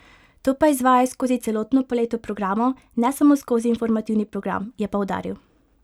To pa izvajajo skozi celotno paleto programov, ne samo skozi informativni program, je poudaril.